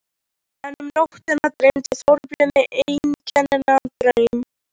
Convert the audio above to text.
En um nóttina dreymdi Þorbjörn einkennilegan draum.